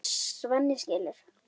Svenni skilur.